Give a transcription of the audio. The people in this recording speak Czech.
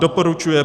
Doporučuje